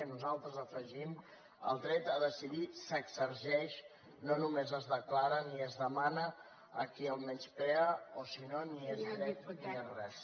nosaltres hi afegim el dret a decidir s’exerceix no només es declara ni es demana a qui el menysprea o si no ni és dret ni és res